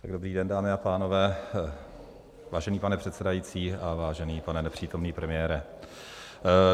Dobrý den, dámy a pánové, vážený pane předsedající a vážený pane nepřítomný premiére.